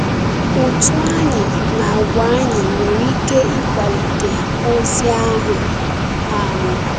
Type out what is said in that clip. Ụ́tụ́ anyị na àgwà anyị nwere ike ịkwàlite ozi ahụ. um